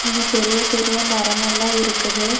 இங்க பெரிய பெரிய மரம் எல்லா இருக்குது.